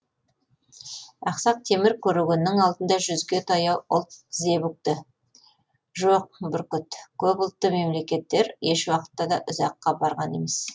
ақсақ темір көрегеннің алдында жүзге таяу ұлт тізе бүкті жоқ бүркіт көп ұлтты мемлекеттер ешуақытта да ұзаққа барған емес